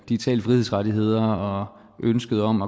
digitale frihedsrettigheder og ønsket om